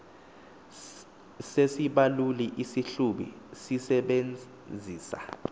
sesibaluli isihlubi sisebenzisa